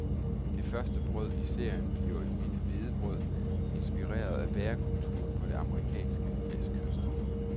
Det første brød i serien bliver et hvidt hvedebrød, inspireret af bagekulturen på den amerikanske vestkyst.